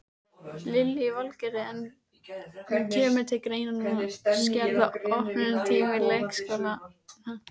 Lillý Valgerður: En kemur til greina að skerða opnunartíma leikskólana?